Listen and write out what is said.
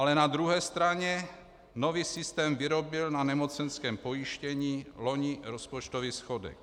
Ale na druhé straně nový systém vyrobil na nemocenském pojištění loni rozpočtový schodek.